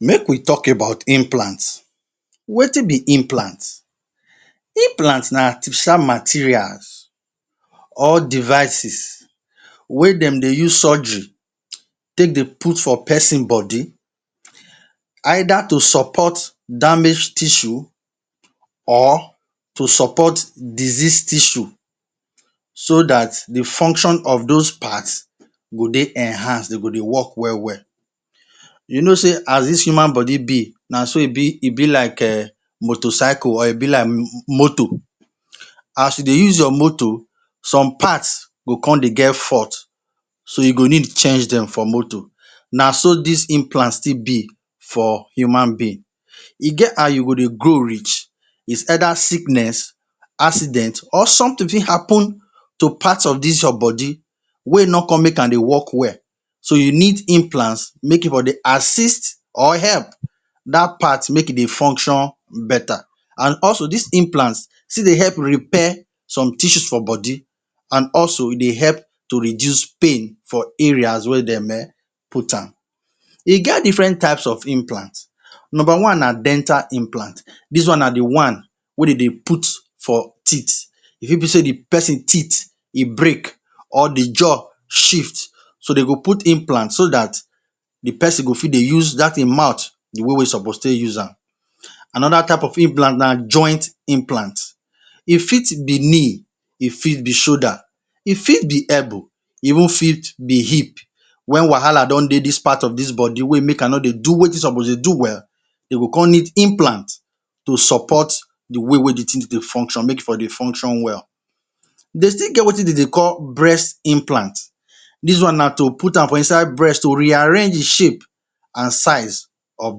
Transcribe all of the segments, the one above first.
Make we talk about implant. Wetin be implant? Implant na artificial materials or devices wey dem dey use surgery take dey put for peson body either to support damage tissue or to support disease tissue so dat the function of dos part go dey enhanced, de go dey work well-well. You know sey as dis human body be, na so e be e be like um motor cycle or e be like motor. As you dey use your motor, some parts go con dey get fault so you go need change dem for motor, na so dis implant still be for human being. E get how you go dey grow reach, it's either sickness, accident, or something fit happen to parts of dis your body wey no con make am dey work well. So, you need implants make e for dey assist or help dat part make e dey function beta. An also, dis implant still dey help repair some tissues for body, an also e dey help to reduce pain for areas wey dem um put am. E get different types of implant: Nomba one na Dental Implant: Dis one na the one wey de dey put for teeth. E fit be sey the peson teeth e break, or the jaw shift, so dey go put implant so dat the peson go fit dey use dat ein mouth the way wey e suppose take use am. Another type of implant na Joint Implant: E fit be knee, e fit be shoulder, e fit be elbow, e even fit be hip. Wen wahala don dey dis part of dis body wey make am no dey do wetin e suppose dey do well, de go con need implant to support the way wey the tin dey dey function make e for dey function well. De still get wetin de dey call Breast Implant: Dis one na to put am for inside breast to rearrange the shape an size of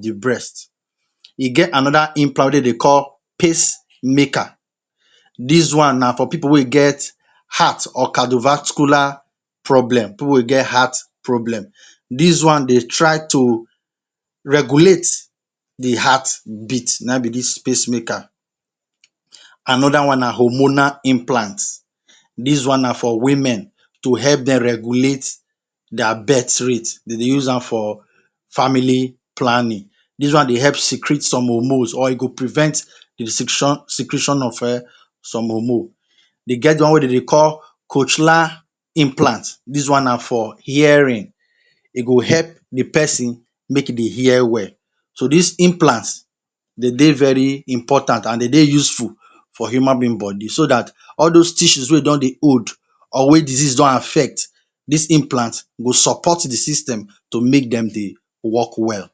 the breast. E get another Implant wey de dey call Pacemaker: Dis one na for pipu wey get heart or cardiovascular problem—pipu wey get heart problem. Dis one dey try to regulate the heartbeat. Na ein be dis pacemaker. Another one na Hormonal Implant: Dis one na for women to help dem regulate dia birthrate. De dey use am for Family Planning. Dis one dey help secret some hormones or e go prevent secretion of um some hormone. Dey get one wey de dey call cochlear Implant: Dis one na for hearing, e go help the peson make e dey hear well. So, dis implants, de dey very important an de dey useful for human being body so dat all dos tissues wey don dey old or wey disease don affect, dis implant go support the system to make dem dey work well.